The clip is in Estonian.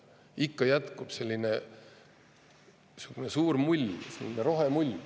Ikka jätkub selline suur mull, rohemull.